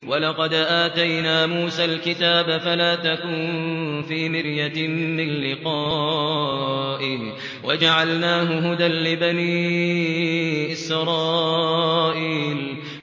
وَلَقَدْ آتَيْنَا مُوسَى الْكِتَابَ فَلَا تَكُن فِي مِرْيَةٍ مِّن لِّقَائِهِ ۖ وَجَعَلْنَاهُ هُدًى لِّبَنِي إِسْرَائِيلَ